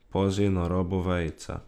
Pazi na rabo vejice.